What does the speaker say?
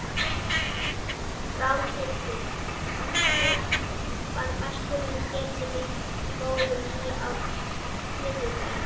Ráðhildur, manstu hvað verslunin hét sem við fórum í á þriðjudaginn?